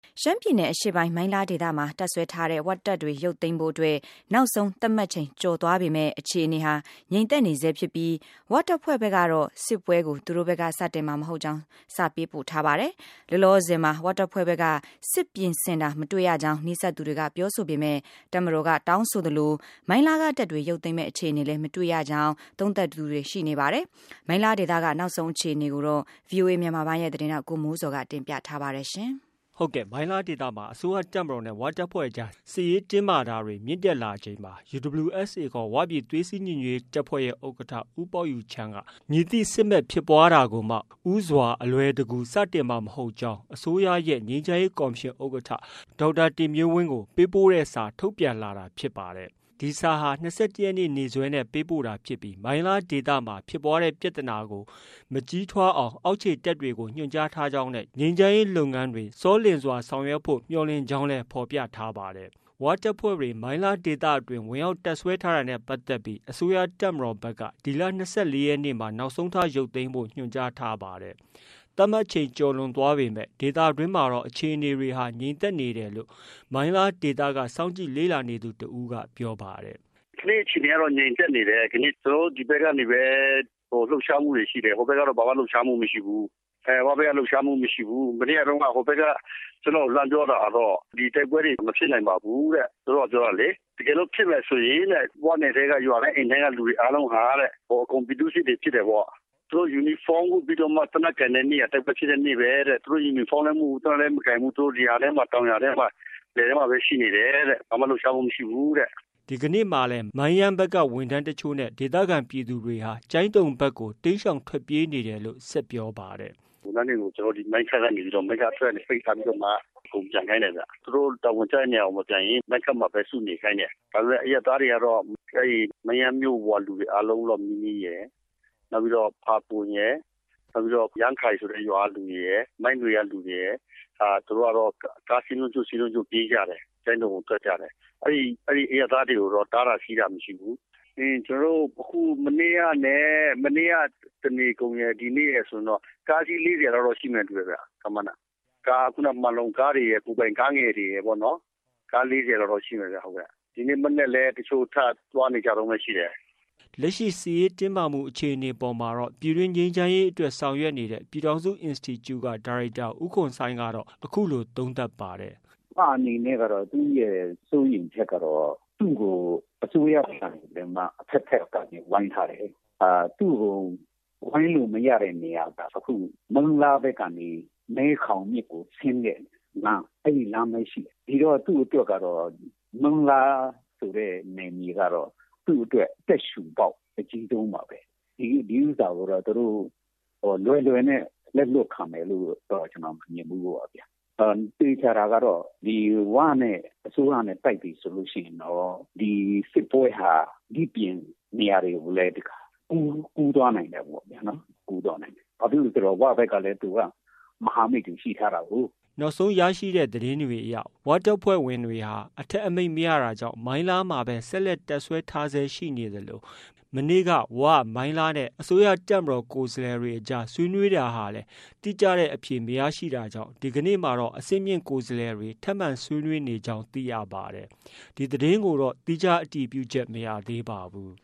ရှမ်းပြည်နယ်အရှေ့ပိုင်း၊ မိုင်းလားဒေသမှာ တပ်စွဲထားတဲ့ ဝတပ်တွေရုပ်သိမ်းဖို့အတွက် နောက်ဆုံး သတ်မှတ်ချိန် ကျော်လွန်သွားပေမဲ့ အခြေအနေဟာ ငြိမ်သက်နေဆဲဖြစ်ပြီး ဝတပ်ဖွဲ့ဖက်ကတော့ စစ်ပွဲကို သူတို့ဖက်က စတင်မှာမဟုတ်ကြောင်း စာပေးပို့ထားပါတယ်။ လောလောဆည်မှာ ဝတပ်ဖွဲ့ဖက်က စစ်ပြင်ဆင်တာ မတွေ့ရကြောင်း နီးစပ်သူတွေက ပြောဆိုပေမဲ့ တပ်မတော်က တောင်းဆိုသလို မိုင်းလားက တပ်တွေ ရုပ်သိမ်းမယ် အခြေအနေလည်း မတွေ့ရကြောင်း သုံးသပ်တာတွေရှိနေပါတယ်။ မိုင်းလားဒေသက နောက်ဆုံးအခြေအနေကို ဗီအိုအေ မြန်မာပိုင်းရဲ့သတင်းထောက် ကိုမိုးဇော်က တင်ပြထားပါတယ်။ ဟုတ်ကဲ့။ မိုင်းလားဒေသမှာ အစိုးရတပ်မတော်နဲ့ ဝတပ်ဖွဲ့အကြား စစ်ရေးတင်းမာတာတွေ မြင့်တက်လာချိန်မှာ UWSA ခေါ် ဝပြည်သွေးစည်းညီညွတ်ရေးတပ်ဖွဲ့ဲရဲ့ ဥက္ကဌ ဦးပေါက်ယူချန်းက မည်သည့်စစ်မက်ဖြစ်ပွားတာကိုမှ ဦးစွာ အလွယ်တကူ စတင်မှာ မဟုတ်ကြောင်း အစိုးရရဲ့ ငြိမ်းချမ်းရေးကော်မရှင် ဥက္ကဌ ဒေါက်တာတင်မျိုးဝင်းကို ပေးပို့တဲ့စာ ထုတ်ပြန်လာတာဖြစ်ပါတယ်။ ဒီစာဟာ၂၁ရက်နေ့ နေ့စွဲနဲ့ပေးပို့တာဖြစ်ပြီး မိုင်းလားဒေသမှာ ဖြစ်ပွားတဲ့ပြသနာကို မကြီးထွားအောင် အောက်ခြေတပ်တွေကို ညွှန်ကြားထားကြောင်းနဲ့ ငြိမ်းချမ်းရေးလုပ်ငန်းတွေ စောလျင်စွာဆောင်ရွက်ဖို့ မျှော်လင့်ကြောင်းလည်း ဖော်ပြပါတယ်။ ဝတပ်ဖွဲ့တွေ မိုင်းလားဒေသတွင်းဝင်ရောက်တပ်စွဲထားတာနဲ့ပတ်သက်ပြီး အစိုးရတပ်မတော်ဖက်က ဒီလ ၂၄ရက်နေ့ နောက်ဆုံးထားရုပ်သိမ်းဖို့ ညွှန်ကြားထားပါတယ်။ သတ်မှတ်ချိန် ကျော်လွန်သွားပေမဲ့ ဒေသ တွင်းမှာတော့ အခြေအနေက ငြိမ်သက်နေတယ်လို့ မိုင်းလားဒေသက စောင့်ကြည့် လေ့လာနေသူ တဦးက ပြောပါတယ်။ “ကနေ့အခြေအနေကတော့ ငြိမ်သက်နေတယ်။ ကျွန်တော်တို့ ဒီဘက်ကနေပဲ လှုပ်ရှားမှုတွေရှိတယ်၊ ဟိုဘက်ကတော့ ဘာမှ လှုပ်ရှားမှုမရှိဘူး။ မနေ့ကတုန်းက ဟိုဘက်ကကျွန်တော့်ကို လှမ်းပြောတာကတော့ ဒီတိုက်ပွဲတွေ မဖြစ်နိုင်ပါဘူးတဲ့၊ သူတို့ကပြောတာလေ၊ တကယ်လို့ဖြစ်မယ်ဆိုရင်တဲ့ ဝနယ်ထဲက ရွာတိုင်း အိမ်တိုင်းက လူအားလုံးဟာတဲ့ အကုန်ပြည်သူ့စစ်တွေဖြစ်တယ်ပေါ့၊ သူတို့ ယူနီဖောင်းဝတ်ပြီးတော့မှ သေနတ်ကိုင်တဲ့နေ့ဟာတိုက်ပွဲဖြစ်တဲ့နေ့ပဲတဲ့၊ သူတို့ ယူနီဖောင်းလဲမဝတ်ဘူး၊ သေနတ်လည်းမကိုင်ဘူး၊ သူတို့ လယ်ယာထဲမှာ၊ တောင်ယာထဲမှာ လယ်ထဲမှာပဲ ရှိနေတယ်တဲ့၊ ဘာမှ လှုပ်ရှားမှုမရှိဘူးတဲ့။” ဒီကနေ့မှာလည်း မိုင်းယန်းဖက်က ဝန်ထမ်းတချို့နဲ့ ဒေသခံပြည်သူတွေဟာ ကျိုင်းတုံဖက်ကို တိမ်းရှောင်တာတွေ ရှိနေတယ်လို့ ဆက်ပြောပါတယ်။ “ဝန်ထမ်းတွေကို ကျွန်တော်တို့ဒီမိုင်းခတ်ကနေပြီးတော့ မိုင်းခတ် အထွက်ဘက်ကနေပြီးတော့ ပိတ်ထားပြီးတော့မှ အကုန်ပြန်ခိုင်းတယ်ဗျ။ သူတို့တာဝန်ကျတဲ့နေရာကိုလည်း မပြန်ရဲဘူး။ မိုင်းခတ်မှာပဲစုနေခိုင်းတယ်။ ဒါပေမယ့် အရပ်သားတွေကတော့ အဲ့ဒီ မိုင်းယန်းမြို့ပေါ်ကလူအားလုံးလောက်နီးနီးရယ် နောက်ပြီးတော့ ဖာပွန်ရယ် ၊ နောက်ပြီးတော့ ယမ်းခိုင်ဆိုတဲ့ရွာကလူတွေရယ်၊ မိုင်းနွေ ကလူတွေရယ် သူတို့ကတော့ ကားစင်းလုံးကျွတ်၊ စင်းလုံးကျွတ်ပြေးကြတယ်။ ကျိုင်းတုံကို ထွက်ကြတယ်။ အဲ့ဒီအရပ်သားတွေကိုတော့ တားတာ၊ ဆီးတာ မရှိဘူး။ ပြီးရင် ကျွန်တော်တို့ မနေ့ကနဲ့ မနေ့က တနေကုန်ရယ်၊ ဒီနေ့ရယ်ဆိုရင်တော့ ကားအစင်းလေးဆယ်လောက်တော့ ရှိမယ်နဲ့ တူတယ်။ ခန့်မှန်းတာ၊ မှန်လုံကားတွေရယ်၊ ကိုယ်ပိုင်ကားငယ်တွေရယ်ပေါ့နော်၊ ကား ၄၀ လောက်တော့ ရှိမယ်ဗျ။ဒီနေ့မနက်လည်း ထပြီး သွားနေကြတုန်းပဲရှိသေးတယ်” လက်ရှိ စစ်ရေးတင်းမာမှုအခြေအနေအပေါ်မှာတော့ ပြည်တွင်း ငြိမ်းချမ်းရေးအတွက် ဆောင်ရွက်နေတဲ့ ပြည်ထောင်စု institute က ဒါရိုက်တာ ဦးခွန်ဆိုင်းကတော့ အခုလို သုံးသပ်ပါတယ်။ “၀ အနေနဲ့ကတော့ သူရဲ့စိုးရိမ်ချက်ကတော့အစိုးရဘက်နေပြီးတော့မှ အဘက်ဘက်ကနေ ဝိုင်းထားတယ်။ သူ့ကို ဝိုင်းလို့မရတဲ့နေရာတော့ မိုင်းလားဘက်နေမဲခေါင်မြစ်ကိုဆင်းတဲ့လမ်း၊ အဲ့ဒီလမ်းပဲရှိတယ်။ ဒီတော့ သူ့အတွက်ကတော့ မိုင်းလားဆိုတဲ့ နယ်မြေကတော့ သူ့အတွက် အသက်ရှုပေါက် အကြီးဆုံးပါပဲ။ ဒီဥစ္စာကိုတော့ သူတို့ လွယ်လွယ်နဲ့ လက်လွှတ်ခံမယ်လို့တော့ ကျွန်တော်မမြင်ဘူးပေါ့ဗျာ၊၊ သေချာတာကတော့ ဒီဝနဲ့ အစိုးရနဲ့တိုက်ပြီဆိုလို့ရှိရင်တော့ ဒီစစ်ပွဲဟာဒီ့ပြင်နေရာတွေကိုလည်း ကူးသွားနိုင်တာပေါ့ဗျာ။ ဘာဖြစ်လို့လည်းဆိုတော့ ၀ ဘက်ကလည်း သူက မဟာမိတ်တွေရှိထားတာကိုး။“ နောက်ဆုံးရရှိတဲ့သတင်းတွေအရတော့ ဝတပ်ဖွဲ့တွေဟာ အထက်အမိန့်မရတာကြောင့် မိုင်းလားမှာဘဲ ဆက်လက်တပ်စွဲထားဆဲရှိနေသလို မနေ့က ဝ၊ မိုင်းလားနဲ့ အစိုးရတပ်မတော်ကိုယ်စားလှယ်တွေ အကြားဆွေးနွေးတာဟာလည်း တိကျတဲ့ အဖြေမရရှိတာကြောင့် ဒီကနေ့မှာ အဆင့်မြင့် ကိုယ်စားလှယ်တွေ ထပ်မံဆွေးနွေးနေကြောင်း သိရပါတယ်။ ဒီသတင်းကိုတော့ သီးခြားအတည်ပြုချက် မရသေးပါဘူး